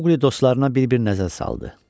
Maqli dostlarına bir-bir nəzər saldı.